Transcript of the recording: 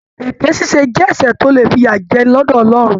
Èké ṣíṣe jẹ ẹsẹ tó le fiyajẹni lọdọ Ọlọrun.